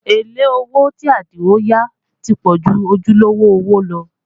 Èlé owó tí Adio yá ti pọ̀ ju ojúlówó owó lọ